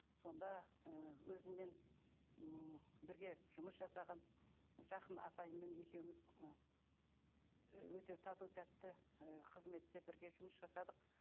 сонда ы өзіммен м бірге жұмыс жасаған жақын апайыммен екеуіміз ыыы өте тату тәтті ы қызметте бірге жұмыс жасадық